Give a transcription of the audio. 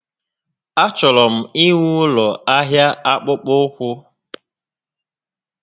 A chọrọ m inwe ụlọ ahịa akpụkpọ ụkwụ